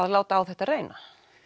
láta á þetta reyna